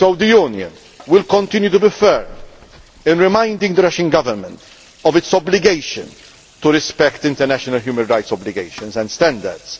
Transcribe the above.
So the Union will continue to be fair in reminding the Russian Government of its obligation to respect international human rights obligations and standards.